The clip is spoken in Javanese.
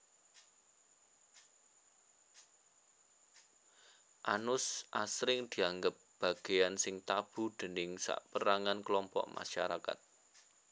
Anus asring dianggep bagéyan sing tabu déning sapérangan klompok masarakat